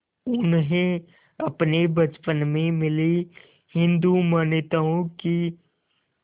उन्हें अपने बचपन में मिली हिंदू मान्यताओं की